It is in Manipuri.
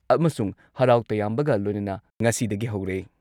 ꯑꯃꯁꯨꯡ ꯍꯔꯥꯎ ꯇꯌꯥꯝꯕꯒ ꯂꯣꯏꯅꯅ ꯉꯁꯤꯗꯒꯤ ꯍꯧꯔꯦ ꯫